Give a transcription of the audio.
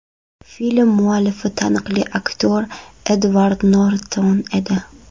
Film muallifi taniqli aktyor Edvard Norton edi.